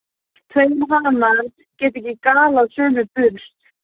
Tveir hanar geta ekki galað á sömu burst.